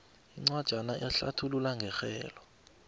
incwajana ehlathulula ngerhelo